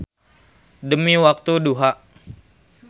Demi waktu duha.